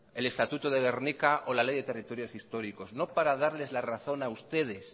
el estatuto de gernika o la ley de territorios históricos no para darles la razón a ustedes